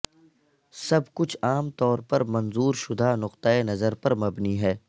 سب کچھ عام طور پر منظور شدہ نقطہ نظر پر مبنی ہے